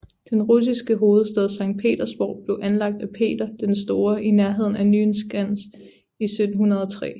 Den nye russiske hovedstad Sankt Petersborg blev anlagt af Peter den Store i nærheden af Nyenskans i 1703